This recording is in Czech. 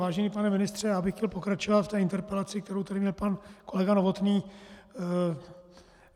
Vážený pane ministře, já bych chtěl pokračovat v té interpelaci, kterou tady měl pan kolega Novotný.